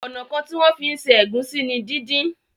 Ọnà kán tí wón fí ṣe Egusi ní dín dín.